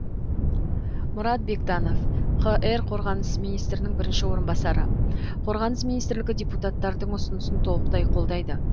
мұрат бектанов қр қорғаныс министрінің бірінші орынбасары қорғаныс министрлігі депутаттардың ұсынысын толықтай қолдайды